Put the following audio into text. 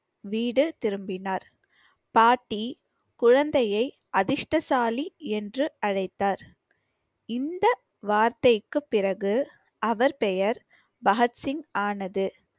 வீடு திரும்பினார் பாட்டி குழந்தையை அதிர்ஷ்டசாலி என்று அழைத்தார் இந்த வார்த்தைக்குப் பிறகு அவர் பெயர் பகத்சிங் ஆனது